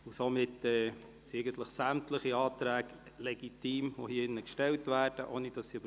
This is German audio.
Somit sind sämtliche Anträge legitim, welche hier gestellt werden.